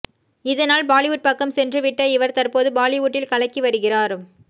இதனால் பாலிவுட் பக்கம் சென்றுவிட்ட இவர் தற்போது பாலிவுட்டில் கலக்கி வருகிறார்